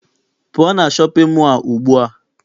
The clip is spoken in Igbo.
Pụọ na shọpịn mọọ a ugbua!